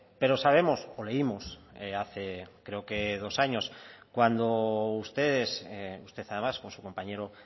pero sabemos o leímos hace creo que dos años cuando ustedes usted además con su compañero